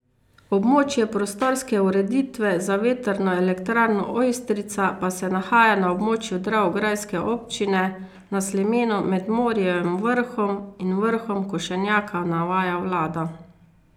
Območje prostorske ureditve za vetrno elektrarno Ojstrica pa se nahaja na območju dravograjske občine, na slemenu med Morijevim vrhom in vrhom Košenjaka, navaja vlada.